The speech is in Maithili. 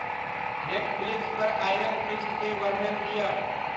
नेटफ्लिक्स पर आयरन फीस्ट के वर्णन दिअ